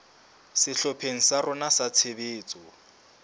sehlopheng sa rona sa tshebetso